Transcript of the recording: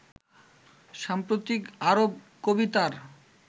সাম্প্রতিক আরব কবিতার